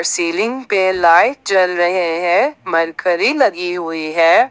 Ceiling पे light जल रहे हैं मरकरी लगी हुई है।